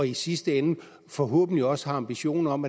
i sidste ende forhåbentlig også har ambitioner om